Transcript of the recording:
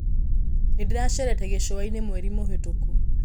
Nĩ ndĩracerete gĩshũainĩ mweri mũhatũku.